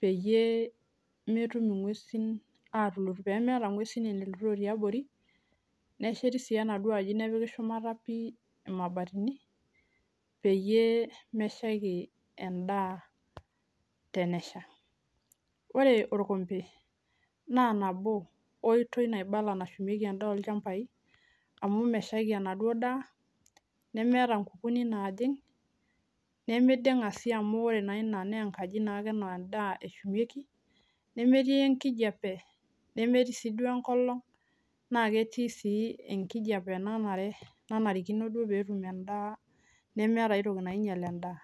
peemelutoo ngwesin aapuo aanya ena duo daa natushumaki ena enkitoi naibala naa kisidai amuu kerishe endaa enkolon, enkijepe ,ingwesin okulie ake tokiting kumook neeku enkitoi ena sidai nashumieki endaa